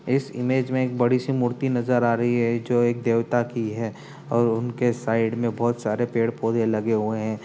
इस इमेज में एक बड़ी सी मूर्ति नजर आ रही हैं। जो एक देवता की है और उनके साइड मे बहुत सारे पेड़ पौधे लगे हुए हैं।